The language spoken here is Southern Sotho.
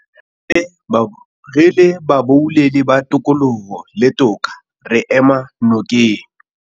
Re le baboulelli ba tokoloho le toka, re ema nokeng